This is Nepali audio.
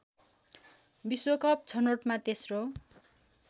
विश्वकप छनोटमा तेस्रो